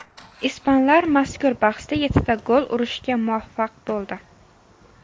Ispanlar mazkur bahsda yettita gol urishga muvaffaq bo‘ldi.